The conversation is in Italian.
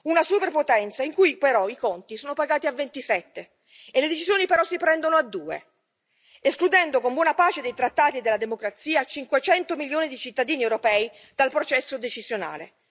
una superpotenza in cui però i conti sono pagati da 27 e le decisioni, però si prendono in 2, escludendo, con buona pace dei trattati della democrazia, 500 milioni di cittadini europei dal processo decisionale.